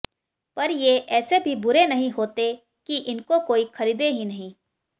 पर ये ऐसे भी बुरे नहीं होते कि इनको कोई खरीदे ही नहीं